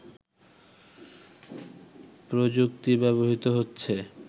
প্রযুক্তি ব্যবহৃত হচ্ছে